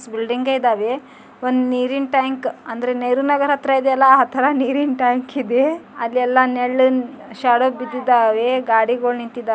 Building ಇದವೆ ಒಂದ್ ನೀರಿನ್ ಟ್ಯಾಂಕ್ ಅಂದ್ರೆ ನೇರ್ನಗರ್ ಹತ್ರಾ ಇದೀಯಲ್ಲಾ ಆ ತರ ನೀರಿನ್ ಟ್ಯಾಂಕ್ ಇದೆ. ಅಲ್ಲೆಲ್ಲಾ ನೆಳ್ಳಿನ್ ಶಾಡೋ ಬಿದ್ದಿದ್ದಾವೆ ಗಡಿಗೋಳ್ ನಿಂತಿದಾ--